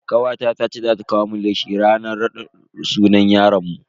Kawata tace za ta kawo mun leshi ranan raɗin sunan yaron mu.